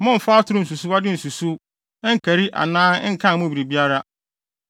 “ ‘Mommfa atoro nsusuwde nsusuw, nkari anaa nkan mo biribiara.